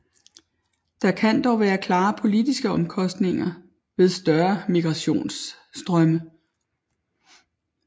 Der kan dog være klare politiske omkostninger ved større migrationsstrømme